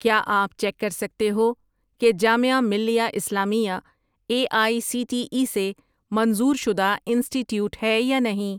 کیا آپ چیک کر سکتے ہو کہ Jamia Millia Islamia A I C T E سے منظور شدہ انسٹی ٹییوٹ ہے یا نہیں؟